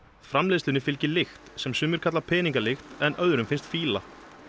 framleiðslunni fylgir lykt sem sumir kalla peningalykt en öðrum finnst fýla